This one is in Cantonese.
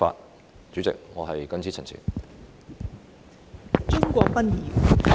代理主席，我謹此陳辭。